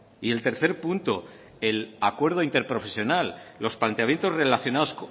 y el tercer punto el acuerdo interprofesional los planteamientos relacionados